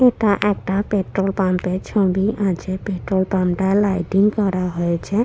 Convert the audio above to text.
এটা একটা petrol pump ছবি আছে পেট্রোল পাম্প -টা লাইটিং করা হয়েছে।